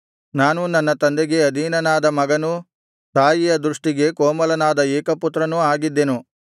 ನಾನೂ ನನ್ನ ತಂದೆಗೆ ಅಧೀನನಾದ ಮಗನೂ ತಾಯಿಯ ದೃಷ್ಟಿಗೆ ಕೋಮಲನಾದ ಏಕಪುತ್ರನೂ ಆಗಿದ್ದೆನು